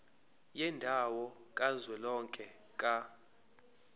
yendawo kazwelonke ka